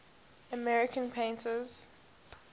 american painters